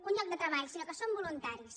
un lloc de treball sinó que són voluntaris